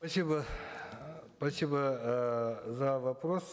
спасибо эээ за вопрос